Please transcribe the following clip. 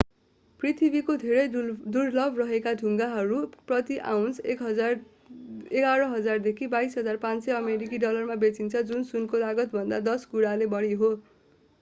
पृथ्वीमा धेरै दुर्लभ रहेका केही ढुङ्गाहरू प्रति आउन्स 11,000 देखि 22,500 अमेरिकी डलरमा बेचिन्छन् जुन सुनको लागतभन्दा दश गुणाले बढी हो